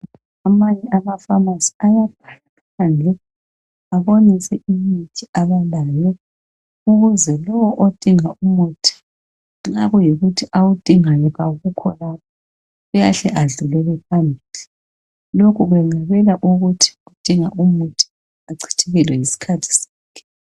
Amanye amafamasi ayakhangela abonise imithi abalayo ukuze lo odinga umuthi nxa kuyikuthi awudingayo kawukho lapho uyahle edlulele phambili. Lokhu kwenqabela ukuthi odinga umuthi achithekelwe yisikhathi sakhe.